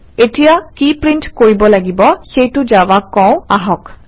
এতিয়া কি প্ৰিণ্ট কৰিব লাগিব সেইটো জাভাক কওঁ আহক